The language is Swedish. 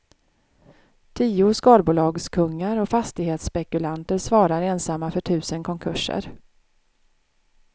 Tio skalbolagskungar och fastighetsspekulanter svarar ensamma för tusen konkurser.